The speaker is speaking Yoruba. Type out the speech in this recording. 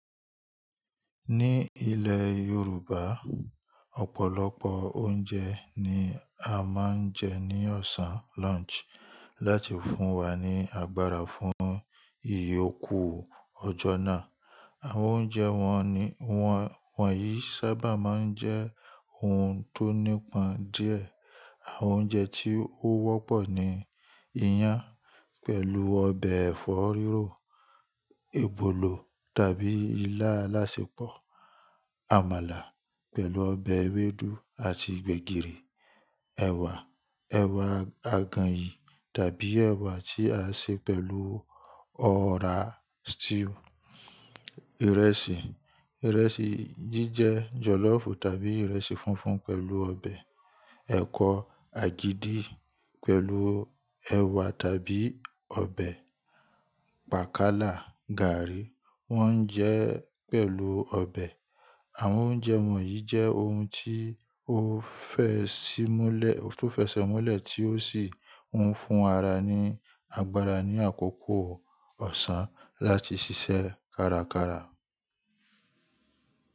Ní ilẹ̀ Yorùbá, ọ̀pọ̀lọpọ̀ oúnjẹ ni a máa ń jẹ ní ọ̀sán lunch láti fún wa ní agbára fún ìyókù ọjọ́ náà. Àwọn oúnjẹ wọ̀nyí sábà máa ń jẹ́ ohun tó nípọn díẹ̀. Àwọn oúnjẹ tí ó wọ́pọ̀ ni iyán pẹ̀lú ọbẹ̀ ẹ̀fọ́ rírò, èbòlò tàbí ilá alásẹpọ̀, àmàlà pẹ̀lú ọbẹ̀ ewédú àti gbẹ̀gìrì, ẹ̀wà, ẹ̀wà àgànyìn tàbí ẹ̀wà tí a ṣe pẹ̀lú ọ̀rá stew. Ìrẹsì, ìrẹsì jíjẹ jọ̀lọ́ọ̀fù tàbí ìrẹsì funfun pẹ̀lú ọbẹ̀, ẹ̀kọ àgìdì pẹ̀lú ẹ̀wà tàbí ọbẹ̀, pàkàlà, gààrí wọ́n ń jẹ pẹ̀lú ọbẹ̀. Àwọn oúnjẹ wọ̀nyí jẹ́ ohun tí o fe ó fẹ́ṣẹ́ mọ́lẹ̀ tí ó sì ń fún ara ní agbára ní àkóko ọ̀sán láti ṣiṣẹ́ kárakára.